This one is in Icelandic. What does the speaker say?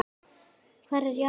Hvar er Jakob?